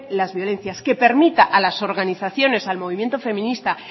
las violencias que permita a las organizaciones al movimiento feminista